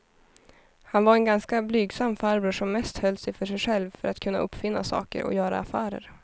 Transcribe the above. Han var en ganska blygsam farbror som mest höll sig för sig själv för att kunna uppfinna saker och göra affärer.